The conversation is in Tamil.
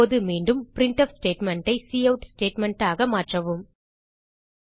இப்போது மீண்டும் பிரின்ட்ஃப் ஸ்டேட்மெண்ட் ஐ கவுட் ஸ்டேட்மெண்ட் ஆக மாற்றவும்